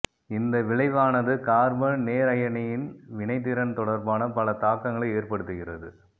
இந்த விளைவானது கார்பன் நேரயனியின் வினைத்திறன் தொடர்பான பல தாக்கங்களை ஏற்படுத்துகிறது